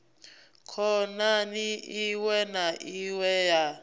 khona iwe na iwe ya